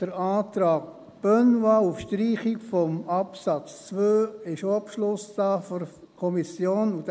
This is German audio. Zum Antrag Benoit auf Streichung des Absatz 2 ist auch ein Beschluss der Kommission vorhanden.